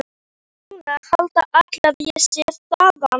Og núna halda allir að ég sé þaðan.